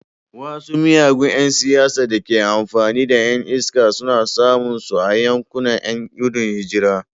Wasu miyagun ’yan siyasa da ke amfani da ’yan iska suna samun su a yankunan ’yan gudun hijira.